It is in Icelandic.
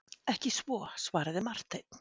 Ekki svo, svaraði Marteinn.